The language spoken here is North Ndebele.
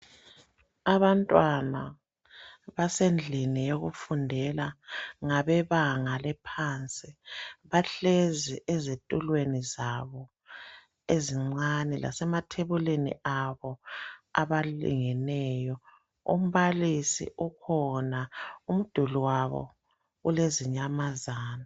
Abantwana basendlini yokufundela. Ngabebanga lephansi. Bahlezi ezitulweni zabo ezincani, lasemathebulini abo abalingeneyo. Umbalisi ukhona. Umduli wabo ulezinyamazana.